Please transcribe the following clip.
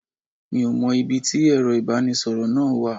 Mi ò mọ ibi tí Ẹ̀rọ ibanisoro náà wà.